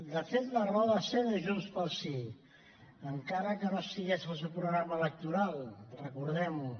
de fet la raó de ser de junts pel sí encara que no estigués al seu programa electoral recordem ho